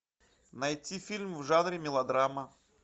найти фильм в жанре мелодрама